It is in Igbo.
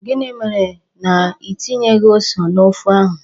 Gịnị mere na Ị tinyeghị ose n'ofe ahụ?